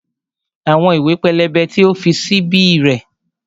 Àwọn ìwé pélébé tí o fi sí bí rèé